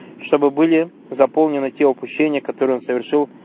чтобы были заполнены те упущения которые он совершил